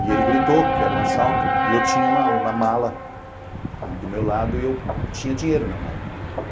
E ele gritou, que era um assalto, e eu tinha uma uma mala do meu lado e eu tinha dinheiro na mala.